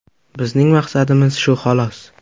Bizning maqsadimiz shu xolos.